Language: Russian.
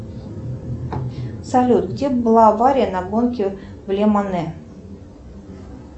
салют где была авария на гонке в лемане